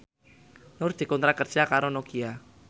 Nur dikontrak kerja karo Nokia